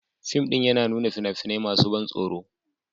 Fim ɗin yana nuna fina-finai masu ban tsoro